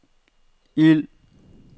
ild